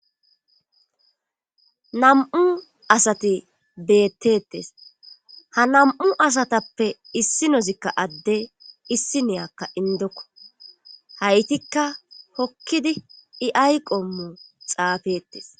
nam7u asati beettettes ha nam7u asatappe issi nozikka adde issi niyakka indokko haytikka hokkidi i ayqommo xaafettes